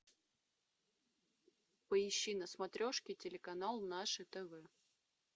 поищи на смотрешке телеканал наше тв